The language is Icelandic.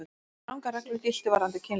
Strangar reglur giltu varðandi kynlíf.